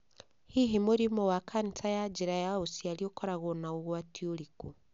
Hihi mũrimũ wa kanica ya njĩra ya uciari ũkoragwo na ũgwati ũrĩkũ?